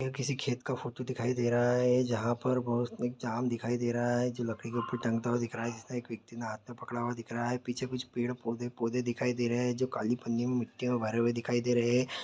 किसी खेत का फोटो दिखाई दे रहा है जहाँ पर बहोत एक ज़ाम दिखाई दे रहा है जो लकड़ी पे टंगता हुआ दिख रहा है एक व्यक्ति ने हाथ में पकड़ा हुआ दिख रहा है पीछे कुछ पेड़ पौधे-पौधे दिखाई दे रहे है काली पन्नी में मिट्टी भरे हुए दिखाई दे रहे हैं ।